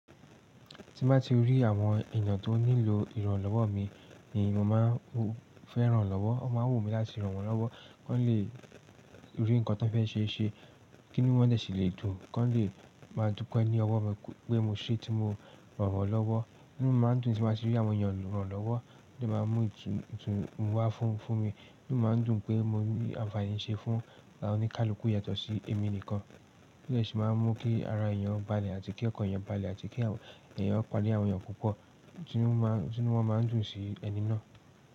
Tín bá ti rí àwọn èèyàn tó nílò ìrànlọ́wọ́ mi ni mo máa ń fẹ́ ran lọ́wọ́. O máa ń wu mí láti ràn wọ́n lọ́wọ́, kí wọ́n lè rí nǹkan tó fẹ́ ṣe ṣe, kí inú dẹ̀ sì lè dùn, kí wọ́n lè máa dúpẹ́ ní ọwọ́ mi pé mo ṣé tí mo rànwọ́n lọ́wọ́. Ínu mi máa ń dùn tí mo bá ti rí àwọn èèyàn ràn lọ́wọ́, ó dẹ̀ máa ń mú ìtùnú wá fún, fún mi. Ínu mi máa ń dùn pé mo rí àǹfààní ṣe fún àwon oníkálukú yatọ sí èmi nìkan. Kí ni sì máa ń mú kí ara èèyàn balẹ̀ àti kí ọkàn èèyàn balẹ̀ àti kí àwọn èèyàn pa'dé àwọn èèyàn púpọ̀, tí inu wọ́n máa ń dùn sí ẹni náà.